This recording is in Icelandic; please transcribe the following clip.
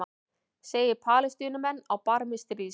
Segir Palestínumenn á barmi stríðs